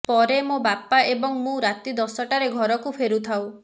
ପରେ ମୋ ବାପା ଏବଂ ମୁଁ ରାତି ଦଶଟାରେ ଘରକୁ ଫେରୁଥାଉ